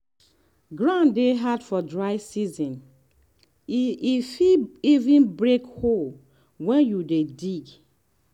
ground dey hard for dry season e e fit even break hoe when you dey dig.